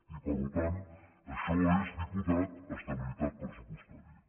i per tant això és diputat estabilitat pressupostària